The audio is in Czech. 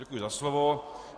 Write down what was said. Děkuji za slovo.